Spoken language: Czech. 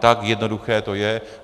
Tak jednoduché to je.